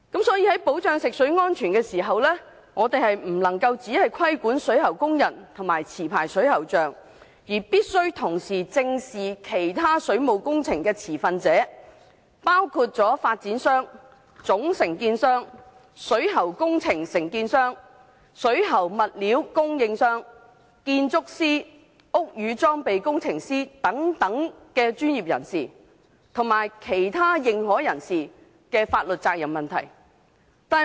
所以，在保障食水安全的時候不能夠只規管水喉工人及持牌水喉匠，必須同時正視其他水務工程持份者，包括發展商、總承建商、水喉工程承建商、水喉物料供應商、建築師、屋宇裝備工程師等專業人士，以及其他認可人士的法律責任問題。